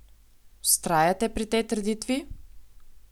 Vztrajate pri tej trditvi?